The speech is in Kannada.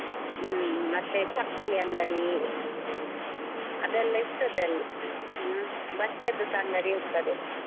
ಹ್ಮ್, ಮತ್ತೆ ಚಪ್ಪಲಿ ಅಂಗಡಿ ಅದೆಲ್ಲಾ ಇರ್ತದೆ ಅಲ್ಲಿ, ಹ್ಮ್ ಬಟ್ಟೆಯದ್ದುಸ ಅಂಗಡಿ ಇರ್ತದೆ.